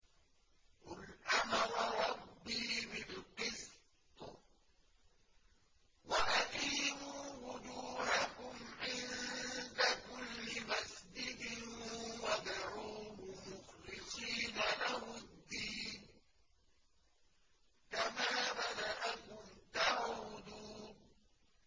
قُلْ أَمَرَ رَبِّي بِالْقِسْطِ ۖ وَأَقِيمُوا وُجُوهَكُمْ عِندَ كُلِّ مَسْجِدٍ وَادْعُوهُ مُخْلِصِينَ لَهُ الدِّينَ ۚ كَمَا بَدَأَكُمْ تَعُودُونَ